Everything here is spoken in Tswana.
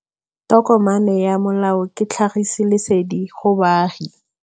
Tokomane ya molao ke tlhagisi lesedi go baagi.